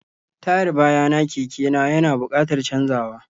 Tayar bayana keke na ya na buƙatar canzawa.